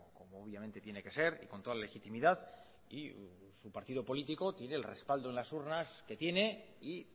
como obviamente tiene que ser y con toda legitimidad y su partido político tiene el respaldo en las urnas que tiene y